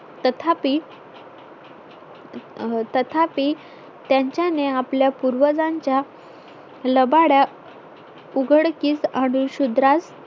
तथापि तथापी त्याच्यांनी आपल्या पूर्वजांच्या लबाड्या उघडकीस आणून शुद्रास